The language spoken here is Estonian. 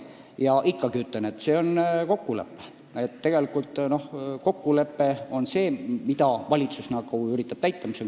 Ma ikkagi ütlen, et on niisugune kokkulepe ja kokkuleppeid valitsus üritab täita.